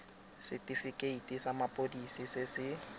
setifikeiti sa mapodisi se se